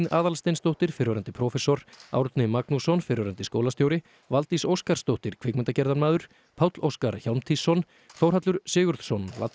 Aðalsteinsdóttir fyrrverandi prófessor Árni Magnússon fyrrverandi skólastjóri Valdís Óskarsdóttir kvikmyndagerðarmaður Páll Óskar Hjálmtýsson Þórhallur Sigurðsson